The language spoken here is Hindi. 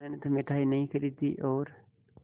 मैंने तो मिठाई नहीं खरीदी और